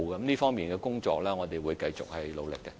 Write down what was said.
這方面的工作，我們會繼續努力進行。